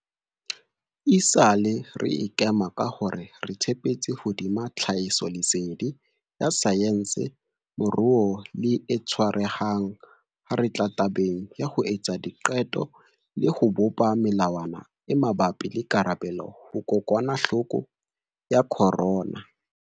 Esale re ikema ka hore re tshepetse hodima tlhahisoleseding ya saense, moruo le e tshwarehang ha re tla tabeng ya ho etsa diqeto le ho bopa melawana e mabapi le karabelo ho kokwanahloko ya corona.